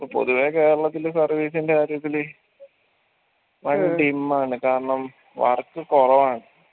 ഇപ്പൊ പൊതുവെ കേരളത്തിൽ service ൻറെ കാര്യത്തില് dim ആണ് കാരണം work കൊറവാണ്